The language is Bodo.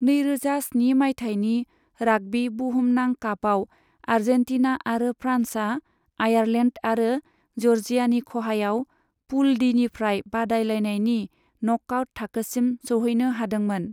नैरोजा स्नि माइथायनि राग्बी बुहुमनां कापआव, आर्जेन्टीना आरो फ्रान्सआ आयारलेन्ड आरो जर्जियानि खहायाव पूल डीनिफ्राय बादायलायनायनि न'कआउट थाखोसिम सौहैनो हादोंमोन।